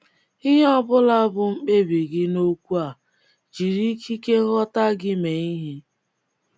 Ihe ọ bụla bụ mkpebi gị um n’okwu um a, jiri ikike nghọta gị um mee ihe.